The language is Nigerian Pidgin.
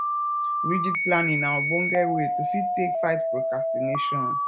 rigid planning na ogbonge way to fit take fight procrastination